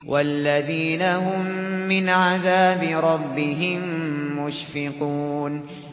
وَالَّذِينَ هُم مِّنْ عَذَابِ رَبِّهِم مُّشْفِقُونَ